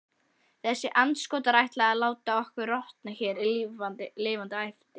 Þessir andskotar ætla að láta okkur rotna hér lifandi æpti